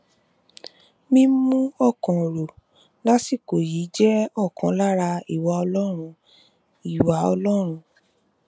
mímú ọkàn rò lásìkò yìí jẹ ọkan lára ìwà ọlọrun ìwà ọlọrun